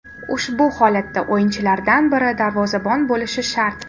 Ushbu holatda o‘yinchilardan biri darvozabon bo‘lishi shart.